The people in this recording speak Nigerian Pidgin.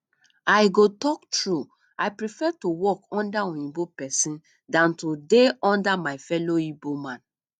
i go talk true i prefer to dey work under oyinbo person dan to dey under my fellow igbo man